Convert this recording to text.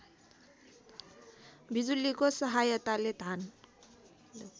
बिजुलीको सहायताले धान